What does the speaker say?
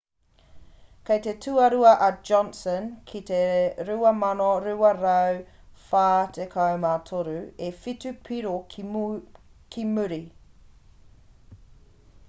kei te tuarua a johnson ki te 2,243 e whitu piro ki muri